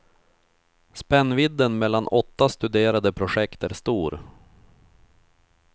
Spännvidden mellan åtta studerade projekt är stor.